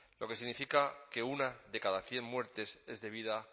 lo que significa que uno de cada cien muertes es debida